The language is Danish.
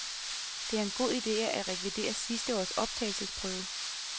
Det er en god ide at rekvirere sidste års optagelsesprøve.